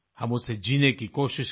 हम उसे जीने की कोशिश करें